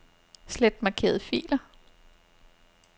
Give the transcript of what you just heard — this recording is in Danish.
Slet markerede filer.